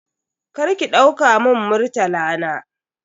Karki dauka mun Murtala na.